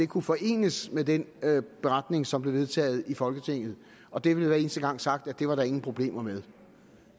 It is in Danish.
kunne forenes med den beretning som blev vedtaget i folketinget og der blev hver eneste gang sagt at det var der ingen problemer med